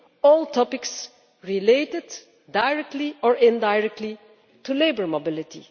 UK all topics related directly or indirectly to labour mobility.